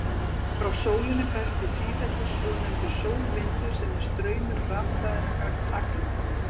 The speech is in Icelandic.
Frá sólinni berst í sífellu svonefndur sólvindur sem er straumur rafhlaðinna agna.